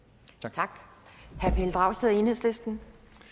tak herre pelle dragsted enhedslisten